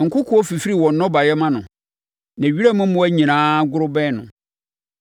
Nkokoɔ fifiri wɔn nnɔbaeɛ ma no, na wiram mmoa nyinaa goro bɛn hɔ.